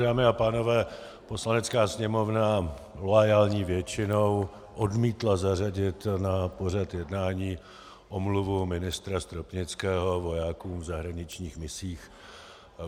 Dámy a pánové, Poslanecká sněmovna loajální většinou odmítla zařadit na pořad jednání omluvu ministra Stropnického vojákům v zahraničních misích.